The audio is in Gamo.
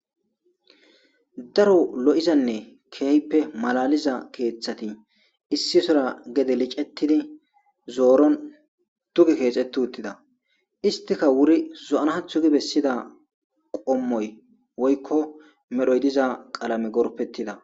Daro lo7izanne keehppe malaliza keeththati issi sora gede licettidi zooron tugi keexeti uttida istika wuri zo7anhathu gi bessida qommoy woykko medhoy diza qalame gorpettida.